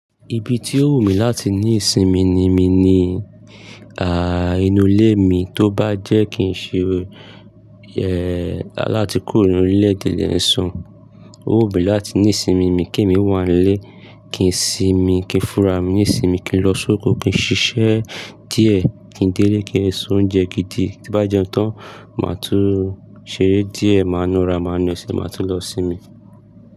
Ibi tí ó wù mí láti ní ìsinmi ni mí ní, ah, inú ilé mi. Tó bá jẹ́ kí n ṣe, ẹ́, láti kúrò ní orile-ede lẹ́ ń sun. Ó wù mí láti ní ìsinmi mi kí èmi wà nílé, kí n sinmi, kí n fura mi ní ìsinmi kí n lọ sóko, kí n ṣiṣẹ́ díẹ̀, kí n délé kí n ṣe oúnjẹ kídi. Tí bá jẹ́un tán, màá tún ṣeré díẹ̀, màá na ara, màá na ẹsẹ̀, màá tún lọ sinmi.